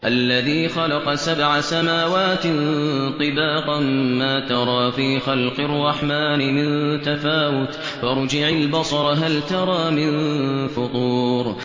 الَّذِي خَلَقَ سَبْعَ سَمَاوَاتٍ طِبَاقًا ۖ مَّا تَرَىٰ فِي خَلْقِ الرَّحْمَٰنِ مِن تَفَاوُتٍ ۖ فَارْجِعِ الْبَصَرَ هَلْ تَرَىٰ مِن فُطُورٍ